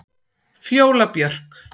Fjóla Björk.